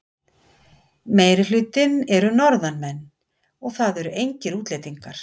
Meirihlutinn eru Norðanmenn og það eru engir útlendingar.